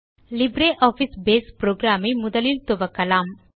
LibreOffice base program ஐ முதலில் துவக்கலாம்